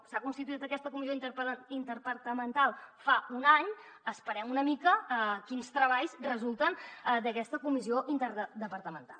s’ha constituït aquesta comissió interdepartamental fa un any esperem una mica a veure quins treballs resulten d’aquesta comissió interdepartamental